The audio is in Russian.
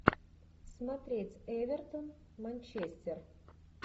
смотреть эвертон манчестер